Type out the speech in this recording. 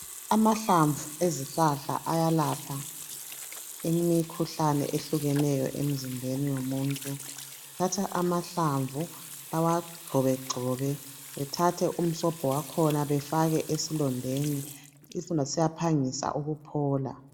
Amahlamvu ezihlahla ayalapha imikhuhlane ehlukeneyo emizimbeni yomuntu bathatha amahlamvu bawagxobagxobe bethathe umsobho wakhona befake esilondeni isilonda siyaphangisa ukuphola